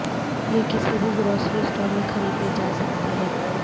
یہ کسی بھی گروسری سٹور میں خریدے جا سکتے ہیں